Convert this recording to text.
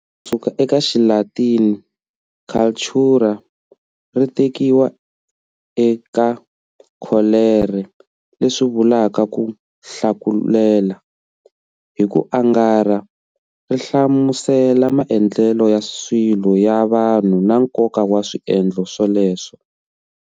Kusuka ekaXilatini"cultura" ri tekiwa e ka"colere", leswi vulaka"ku hlakulela". Hi ku angarha ri hlamusela maendlele ya swilo ya vanhu na nkonka wa swiendlo sweleswo.